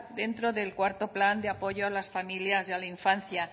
dentro del cuarto plan de apoyo a las familias y a la infancia